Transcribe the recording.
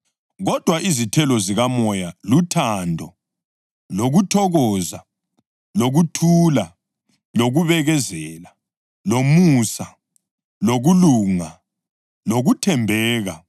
Kodwa izithelo zikaMoya luthando, lokuthokoza, lokuthula, lokubekezela, lomusa, lokulunga, lokuthembeka,